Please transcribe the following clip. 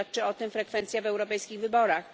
Świadczy o tym frekwencja w europejskich wyborach.